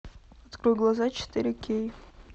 открой глаза четыре кей